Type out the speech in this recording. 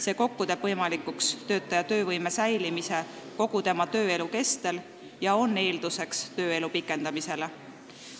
See kokku teeb võimalikuks töötajate töövõime püsimise enne pensioniiga ja on eelduseks tööelu pikendamisele.